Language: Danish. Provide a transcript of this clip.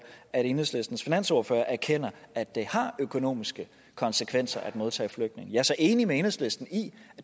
at enhedslistens finansordfører erkender at det har økonomiske konsekvenser at modtage flygtninge jeg er så enig med enhedslisten i